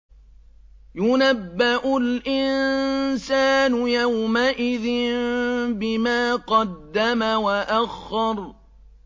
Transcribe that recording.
يُنَبَّأُ الْإِنسَانُ يَوْمَئِذٍ بِمَا قَدَّمَ وَأَخَّرَ